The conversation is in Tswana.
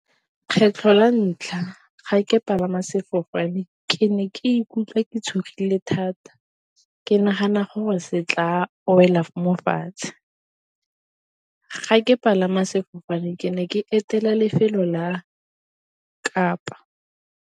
Kgetlho la ntlha ga ke palama sefofane ke ne ke ikutlwa ke tshogile thata, ke nagana gore se tla wela mo fatshe. Ga ke palama sefofane ke ne ke etela lefelo la Kapa.